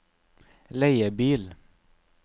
leiebil